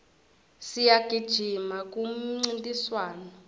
siyagijima kumincintiswano